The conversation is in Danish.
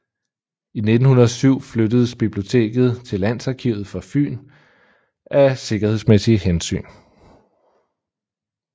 I 1907 flyttedes biblioteket til Landsarkivet for Fyn af sikkerhedsmæssige hensyn